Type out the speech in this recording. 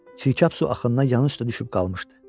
Çirkap su axınına yanı üstə düşüb qalmışdı.